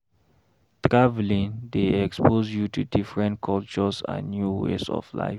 Traveling dey expose you to different cultures and new ways of life.